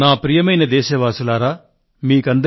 ప్రియమైన నా దేశ వాసులారా నమస్కారం